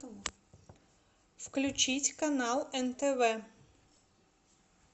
включить канал нтв